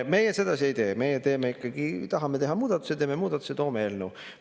Meie sedasi ei tee, meie teeme ikkagi nii, et kui tahame teha muudatuse, siis teeme muudatuse ja toome eelnõu siia.